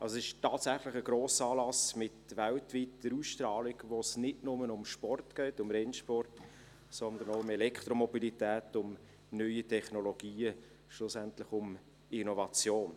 Also: Es ist tatsächlich ein Grossanlass mit weltweiter Ausstrahlung, wo es nicht nur um Sport geht, um Rennsport, sondern auch um Elektromobilität, um neue Technologien und schlussendlich um Innovation.